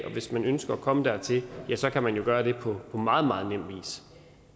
og hvis man ønsker at komme dertil kan man jo gøre det på meget meget nem vis